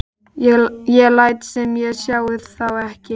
Ég læt sem ég sjái þá ekki.